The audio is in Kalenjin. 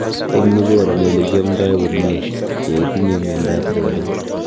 eng u koroni alekiamdai komie yaitinye mianda ap sugaruk